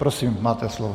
Prosím máte slovo.